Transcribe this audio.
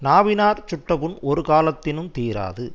நாவினாற் சுட்ட புண் ஒரு காலத்தினுந் தீராது